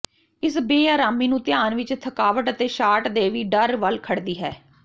ਇਸ ਬੇਆਰਾਮੀ ਨੂੰ ਧਿਆਨ ਵਿਚ ਥਕਾਵਟ ਅਤੇ ਸ਼ਾਟ ਦੇ ਵੀ ਡਰ ਵੱਲ ਖੜਦੀ ਹੈ